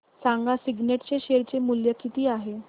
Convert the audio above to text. सांगा सिग्नेट चे शेअर चे मूल्य किती आहे